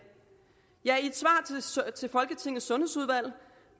i til folketingets sundhedsudvalg